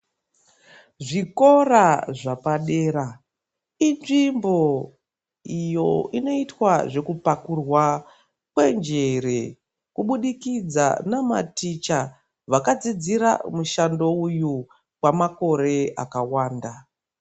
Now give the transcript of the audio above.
Zvikora zvapadera, inzvimbo iyo inoitwa zvekupakurwa kwenjere kubudikidza namaticha vakadzidzira mushando uyu kwamakore akawanda.